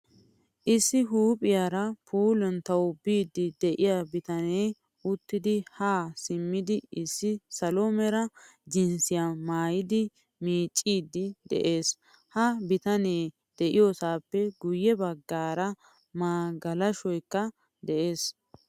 Issi huuphphiyaara puuluntawu biidi de'iya bitane uttidi ha simmidi issi salo mera jinsiya maayidi miiccidi de'ees. Ha bitane de'iyosappe guye baggaara magalashoykka de'ees.